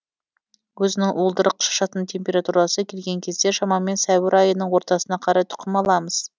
өзінің уылдырық шашатын температурасы келген кезде шамамен сәуір айының ортасына қарай тұқым аламыз